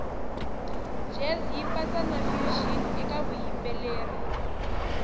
jazz yipatsa nafusion ekavuyimbeleri